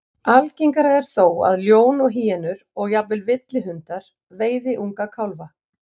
Algengara er þó að ljón og hýenur, og jafnvel villihundar, veiði unga kálfa.